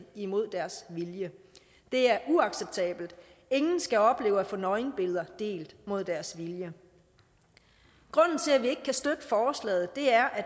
imod deres vilje det er uacceptabelt ingen skal opleve at få nøgenbilleder delt mod deres vilje grunden til at vi ikke kan støtte forslaget er at